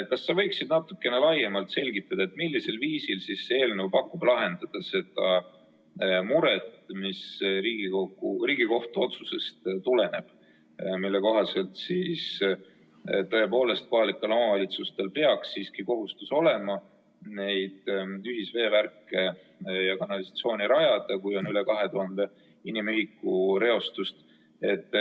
Kas sa võiksid natukene laiemalt selgitada, millisel viisil pakub see eelnõu lahenduse murele, mis tuleneb Riigikohtu otsusest, mille kohaselt kohalikel omavalitsustel peaks siiski olema kohustus neid ühisveevärke ja ‑kanalisatsiooni rajada, kui reostus on üle 2000 inimühiku?